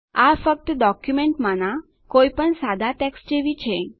આ ફક્ત ડોક્યુંમેંટમાનાં કોઈપણ સાદા ટેક્સ્ટ જેવી છે